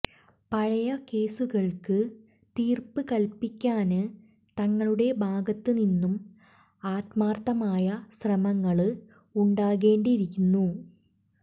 പഴയ കേസുകള്ക്ക് തീര്പ്പ് കല്പ്പിക്കാന് തങ്ങളുടെ ഭാഗത്തുനിന്നും ആത്മാര്ത്ഥമായ ശ്രമങ്ങള് ഉണ്ടാകേണ്ടിയിരുന്നു